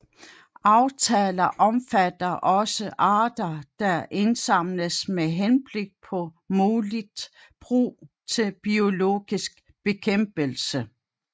Aftaler omfatter også arter der indsamles med henblik på muligt brug til biologisk bekæmpelse